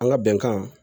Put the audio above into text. An ka bɛnkan